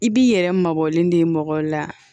I b'i yɛrɛ mabɔlen de mɔgɔ la